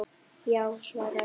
Já svaraði Stjáni.